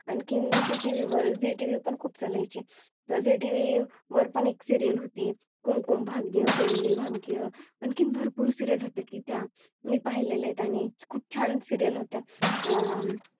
आणखीन ZeeTV वर ZeeTV पण खूप चालायची त्या ZeeTV वर पण एक Serial होती. कुमकुम भाग्य कुंडली भाग्य आणखी भरपूर Serial होते की त्या मी पाहिलेत आणि खूप छान Serial होत्या अं